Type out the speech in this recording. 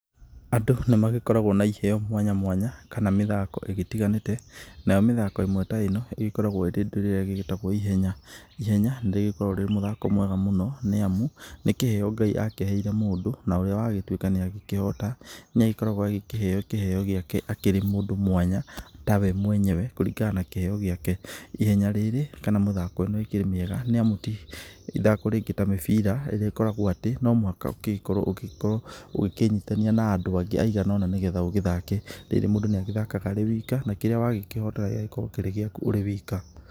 Andũ nĩ magĩkoragwo na iheo mwanya mwanya kana mĩthako igĩtiganĩte nayo mĩthako ĩmwe ta ĩno ĩgĩkoragwo ĩrĩ kĩrĩa gĩgĩtagwo ihenya. Ihenya nĩ rĩkoragwo rĩrĩ mũthako mwega mũno nĩ amu nĩ kĩheo Ngai akĩheire mundũ na ũrĩa wagĩtuĩka nĩagĩkĩhota niagĩkoragwo agĩkĩheo kĩheo gĩake akĩrĩ mũndũ mwanya ta we mwenyewe kũringana na kĩheo gĩake. Ihenya rĩrĩ kana mũthako ũyũ nĩ ũkĩrĩ mwega nĩ amu ti ithako rĩngĩ ta mũbira rĩrĩa rĩkoragwo atĩ no mũhaka ũgĩkorwo ũgĩkĩnyitania na andũ angĩ aigana ũna nĩ getha ũgĩthake. Rĩrĩ mũndũ nĩ agĩthakaga arĩ wika, na kĩrĩa wagĩkĩhotana gĩgakorwo kĩrĩgĩaku ũrĩ wika.